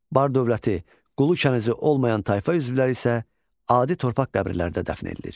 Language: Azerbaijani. Bar dövləti, qulu kənizi olmayan tayfa üzvləri isə adi torpaq qəbirlərində dəfn edilir.